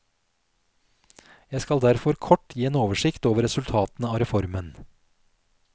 Jeg skal derfor kort gi en oversikt over resultatene av reformen.